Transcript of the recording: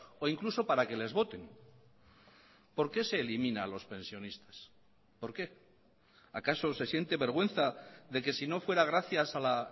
o incluso para que les voten por qué se elimina a los pensionistas por qué acaso se siente vergüenza de que si no fuera gracias a la